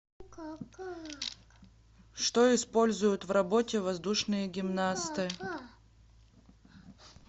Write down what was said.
что используют в работе воздушные гимнасты